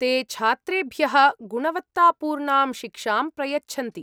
ते छात्रेभ्यः गुणवत्तापूर्णां शिक्षां प्रयच्छन्ति।